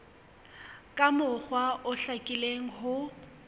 ka mokgwa o hlakileng ho